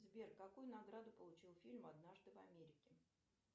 сбер какую награду получил фильм однажды в америке